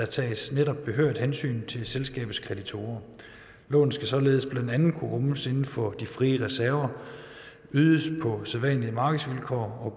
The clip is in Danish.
tages behørigt hensyn til selskabets kreditorer lånet skal således blandt andet kunne rummes inden for de frie reserver ydes på sædvanlige markedsvilkår og